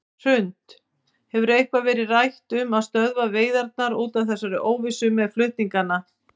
Hrund: Hefur eitthvað verið rætt um að stöðva veiðarnar út af þessari óvissu með flutningana?